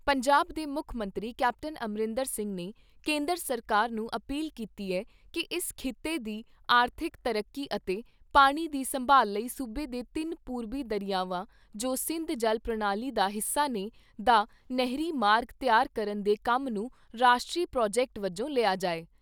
ਪੰਜਾਬ ਦੇ ਮੁੱਖ ਮੰਤਰੀ ਕੈਪਟਨ ਅਮਰਿੰਦਰ ਸਿੰਘ ਨੇ ਕੇਂਦਰ ਸਰਕਾਰ ਨੂੰ ਅਪੀਲ ਕੀਤੀ ਏ ਕਿ ਇਸ ਖਿੱਤੇ ਦੀ ਆਰਥਿਕ ਤਰੱਕੀ ਅਤੇ ਪਾਣੀ ਦੀ ਸੰਭਾਲ ਲਈ ਸੂਬੇ ਦੇ ਤਿੰਨ ਪੂਰਬੀ ਦਰਿਆਵਾਂ ਜੋ ਸਿੰਧ ਜਲ ਪ੍ਰਣਾਲੀ ਦਾ ਹਿੱਸਾ ਨੇ ਦਾ ਨਹਿਰੀ ਮਾਰਗ ਤਿਆਰ ਕਰਨ ਦੇ ਕੰਮ ਨੂੰ ਰਾਸ਼ਟਰੀ ਪ੍ਰਾਜੈਕਟ ਵਜੋਂ ਲਿਆ ਜਾਏ।